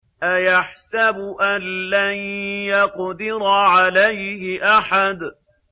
أَيَحْسَبُ أَن لَّن يَقْدِرَ عَلَيْهِ أَحَدٌ